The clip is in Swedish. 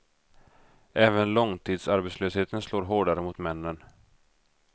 Även långtidsarbetslösheten slår hårdare mot männen.